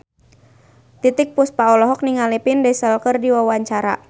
Titiek Puspa olohok ningali Vin Diesel keur diwawancara